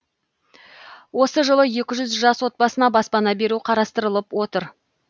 осы жылы екі жүз жас отбасына баспана беру қарастырылып отыр